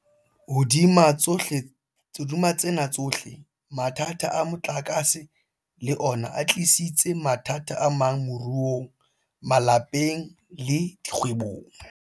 Hodima tsena tsohle, mathata a motlakase le ona a tlisitse mathata amang moruong, malapeng le dikgwebong.